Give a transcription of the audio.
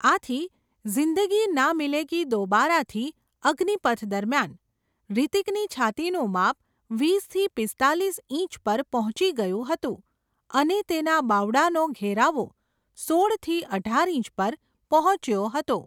આથી ઝિંદગી ના મિલેગી દોબારા, થી અગ્નિપથ દરમિયાન, હૃતિકની છાતીનું માપ, વિસ થી પિસ્તાલિસ ઇંચ પર પહોંચી ગયું હતું, અને તેના બાવડાનો ઘેરાવો, સોળ થી અઢાર ઇંચ પર પહોંચ્યો હતો.